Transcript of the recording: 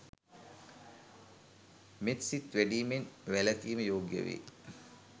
මෙත්සිත වැඩීමෙන් වැලකීම යෝග්‍ය වේ.